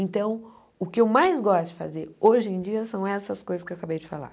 Então, o que eu mais gosto de fazer hoje em dia são essas coisas que eu acabei de falar.